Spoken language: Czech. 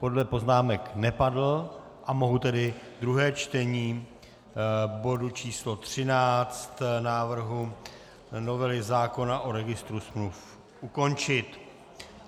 Podle poznámek nepadl, a mohu tedy druhé čtení bodu číslo 13 návrhu novely zákona o registru smluv ukončit.